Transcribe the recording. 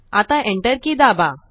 आता Enter की दाबा